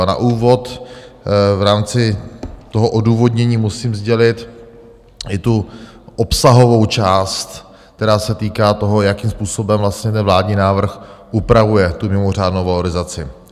A na úvod v rámci toho odůvodnění musím sdělit i tu obsahovou část, která se týká toho, jakým způsobem vlastně ten vládní návrh upravuje tu mimořádnou valorizaci.